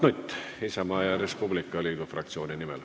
Mart Nutt Isamaa ja Res Publica Liidu fraktsiooni nimel.